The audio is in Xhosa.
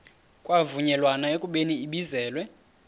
kwavunyelwana ekubeni ibizelwe